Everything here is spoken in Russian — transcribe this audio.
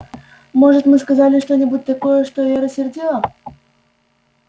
может мы сказали что-нибудь такое что её рассердило